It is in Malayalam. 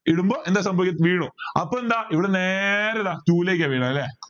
ഇടുമ്പോ എന്താ സംഭവിക്ക വീഴും അപ്പൊ എന്താ ഇവിടുന്ന് നേരെ ഇതാ two ലേക്ക വരുന്നേ അല്ലെ